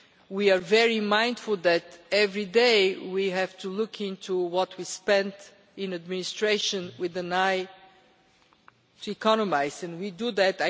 We are very mindful that every day we have to look into what we spent on administration, with an eye to economising and we do that.